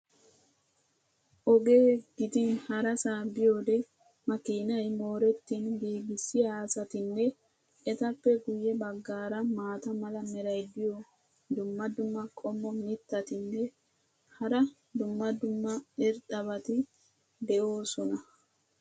Oge gidin harasaa biyoode makiinay mooretin giigissiya asatinne etappe guye bagaara maata mala meray diyo dumma dumma qommo mitattinne hara dumma dumma irxxabati de'oosona.